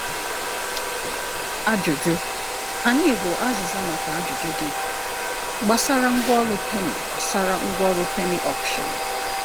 Ajụjụ? Anyị bụ azịza maka ajụjụ gị gbasara Ngwaọrụ Penny gbasara Ngwaọrụ Penny Auction.